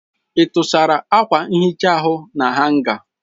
Ị tụsara akwa nhicha ahụ na hanga?